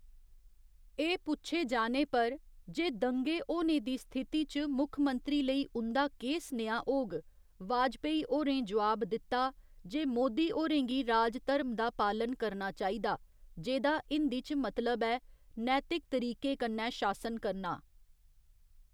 एह् पुच्छे जाने पर जे दंगे होने दी स्थिति च मुक्खमंत्री लेई उं'दा केह् सनेहा होग, वाजपेयी होरें जोआब दित्ता जे मोदी होरें गी राजधर्म दा पालन करना चाहिदा, जेह्दा हिंदी च मतलब ऐ नैतिक तरीके कन्नै शासन करना।